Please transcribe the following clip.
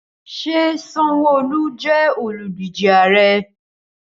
Ṣé Sanwoolu jẹ́ olùdíje ààrẹ́?